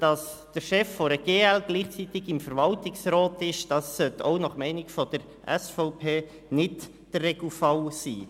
Dass der Chef der GL gleichzeitig im Verwaltungsrat sitzt, sollte auch nach Meinung der SVP nicht der Regelfall sein.